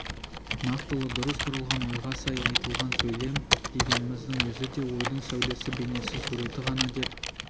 нақтылы дұрыс құрылған ойға сай айтылған сөйлем дегеніміздің өзі де ойдың сәулесі бейнесі суреті ғана деп